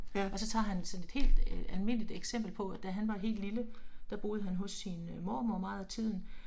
Og så tager han sådan et helt øh almindeligt eksempel på at da han var helt lille, der boede han hos sin øh mormor meget af tiden